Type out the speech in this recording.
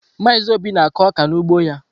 Mazị Obi na-akụ ọka n’ugbo ya.